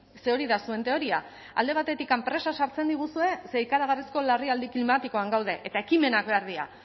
ze hori da zuen teoria alde batetik presa sartzen diguzue ze ikaragarrizko larrialdi klimatikoan gaude eta ekimenak behar dira